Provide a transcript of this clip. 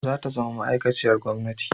Za ta zama ma'aikaciyar gwamnati